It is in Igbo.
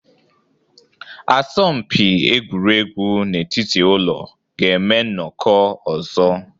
Asọmpi egwuregwu n'etiti ụlọ ga-eme nnọkọ ọzọ